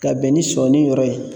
Ka bɛn ni sɔni yɔrɔ ye